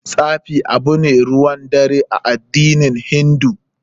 Tsafi abu ne ruwan dare a addinin hindu.